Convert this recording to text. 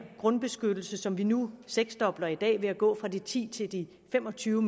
grundbeskyttelse som vi nu seksdobler i dag ved at gå fra de ti m til de fem og tyve